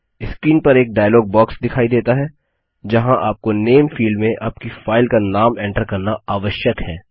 screen पर एक dialog box दिखाई देता है जहाँ आपको नामे फील्ड में आपकी फाइल का नाम एंटर करना आवश्यक है